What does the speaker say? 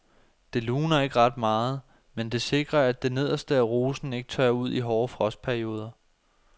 Det luner ikke ret meget, men det sikrer at det nederste af rosen ikke tørrer ud i hårde frostperioder.